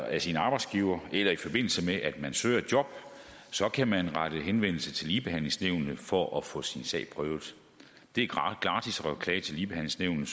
af sin arbejdsgiver eller i forbindelse med at man søger et job kan man rette henvendelse til ligebehandlingsnævnet for at få sin sag prøvet det er gratis at klage til ligebehandlingsnævnet